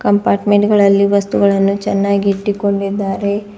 Department ಗಳಲ್ಲಿ ವಸ್ತುಗಳನ್ನು ಚೆನ್ನಾಗಿ ಇಟ್ಟಿಕೊಂಡಿದ್ದಾರೆ.